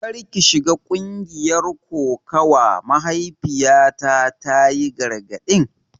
Kar ki shiga ƙungiyar kokawa, mahaifiyata ta yi gargadin.